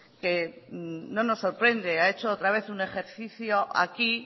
que no nos sorprende ha hecho otra vez un ejercicio aquí